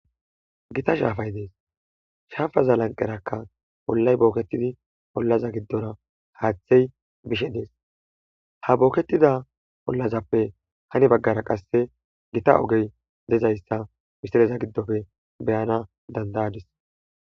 Gita shappay dees shappaza lanqerakka oollay bookettidi oollaza gidora haaththey bishe dees ha bookettida oollazappe heeni baggara qase gita oogey dizayssa beeyana dandayadis